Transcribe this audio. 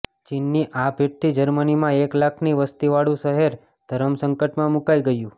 ચીનની આ ભેટથી જર્મનીમાં એક લાખની વસતીવાળું શહેર ધર્મસંકટમાં મુકાઈ ગયું